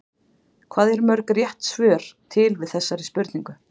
Hvað eru mörg rétt svör til við þessari spurningu?